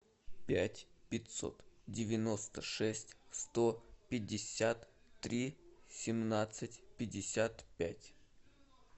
пять пятьсот девяносто шесть сто пятьдесят три семнадцать пятьдесят пять